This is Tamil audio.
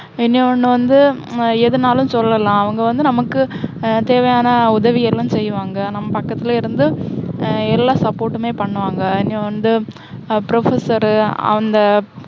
இன்னொண்ணு வந்து, உம் எதுனாலும் சொல்லலாம். அவங்க வந்து நமக்கு ஹம் தேவையான உதவி எல்லாம் செய்வாங்க. நம்ம பக்கத்தில இருந்து, உம் எல்லா support டுமே பண்ணுவாங்க. இன்னும் வந்து ஹம் professor ரு, அந்த